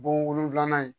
Bon wolonfilanan ye